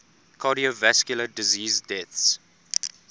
cardiovascular disease deaths